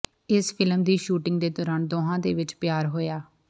ਇਸ ਫਿਲਮ ਦੀ ਸ਼ੂਟਿੰਗ ਦੇ ਦੌਰਾਨ ਦੋਹਾਂ ਦੇ ਵਿੱਚ ਪਿਆਰ ਹੋਇਆ